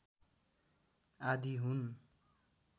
आदि हुन्